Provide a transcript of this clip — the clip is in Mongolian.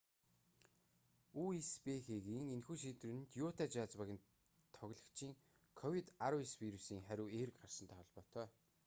үсбх-гийн энэхүү шийдвэр нь юта жазз багийн тоглогчийн ковид-19 вирусын хариу эерэг гарсантай холбоотой